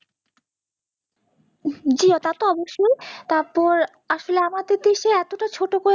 জি তা তো অবশ্যই, তারপর আমাদের দেশে এতটা ছোট